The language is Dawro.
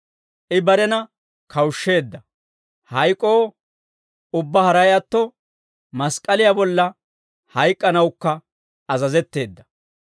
I barena kawushsheedda; hayk'oo, ubbaa haray atto, mask'k'aliyaa bolla hayk'k'anawukka azazetteedda.